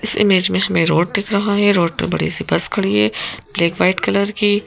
इस इमेज में हमें रोड दिख रहा है रोड पर बड़ी सी बस खड़ी है ब्लैक वाइट कलर की --